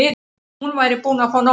Hún væri búin að fá nóg.